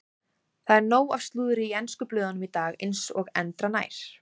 Það er nóg af slúðri í ensku blöðunum í dag eins og endranær.